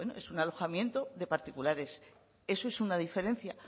bueno es un alojamiento de particulares eso es una diferencia